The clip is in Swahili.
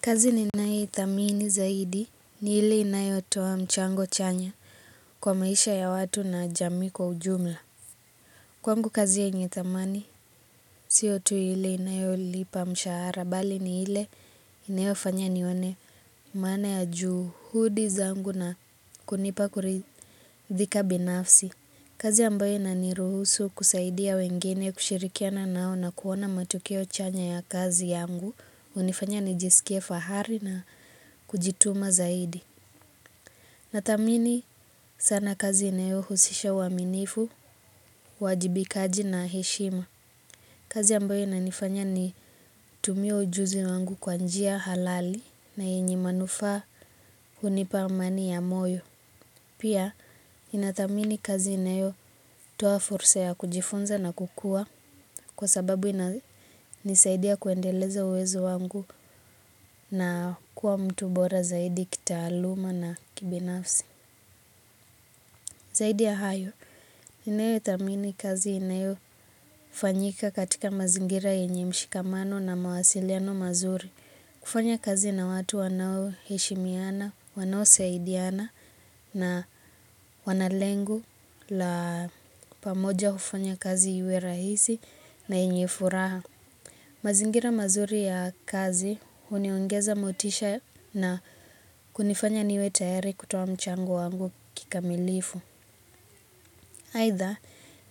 Kazi ninayethamini zaidi ni ile inayotoa mchango chanya kwa maisha ya watu na jamii kwa ujumla. Kwangu kazi yenye thamani sio tu ile inayolipa mshahara bali ni ile inayofanya nione. Maana ya juhudi zangu na kunipa kuridhika binafsi. Kazi ambayo inaniruhusu kusaidia wengine kushirikiana nao na kuona matokeo chanya ya kazi yangu. Hunifanya nijisikie fahari na kujituma zaidi. Nathamini sana kazi inayohusisha uaminifu, uwajibikaji na heshima. Kazi ambayo inanifanya nitumie ujuzi wangu kwa njia halali na yenye manufaa hunipa amani ya moyo. Pia inathamini kazi inayotoa fursa ya kujifunza na kukua kwa sababu inisaidia kuendeleza uwezo wangu na kuwa mtu bora zaidi kitaaluma na kibinafsi. Zaidi ya hayo, ninayothamini kazi inayofanyika katika mazingira yenye mshikamano na mawasiliano mazuri. Kufanya kazi na watu wanaoheshimiana, wanaosaidiana na wana lengo la pamoja hufanya kazi iwe rahisi na yenye furaha. Mazingira mazuri ya kazi huniongeza motisha na kunifanya niwe tayari kutoa mchango wangu kikamilifu. Aidha,